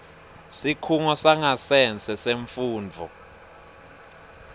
sikhungo sangasese semfundvo